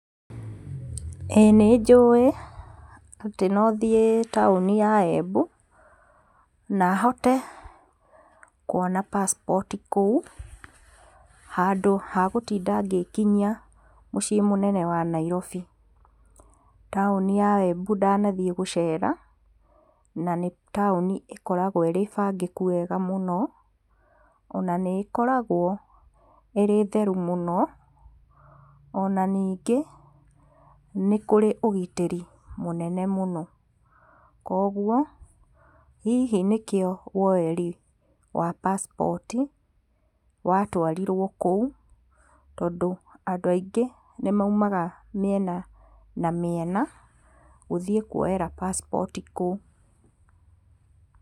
Ĩi nĩ njũĩ atĩ no thiĩ taũni ya Embu, na hote kuona pasipoti kũu, handũ ha gũtinda ngĩkinyia mũciĩ mũnene wa Nairobi. Taũni ya Embu ndanathiĩ gũcera, na nĩ taũni ĩkoragwo ĩrĩ bangĩku wega mũno, ona nĩ ĩkoragwo ĩrĩ theru mũno, ona ningĩ, nĩ kũrĩ ũgitĩri mũnene mũno. koguo, hihi nĩ kĩo woeri wa passport watwarirwo kũu, tondũ andũ aingĩ nĩ maumaga mĩena na mĩena, gũthiĩ kuoyera passport kũu.